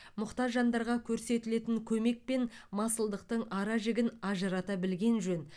мұқтаж жандарға көрсетілетін көмек пен масылдықтың ара жігін ажырата білген жөн